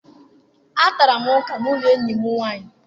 Atara m ọka n'ụlọ enyi m nwaanyị.